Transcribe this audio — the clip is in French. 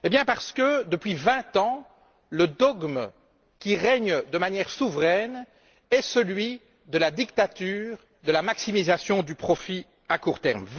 Parce que depuis vingt ans, le dogme qui règne de manière souveraine est celui de la dictature et de la maximisation du profit à court terme.